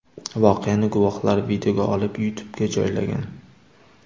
Voqeani guvohlar videoga olib YouTube’ga joylagan .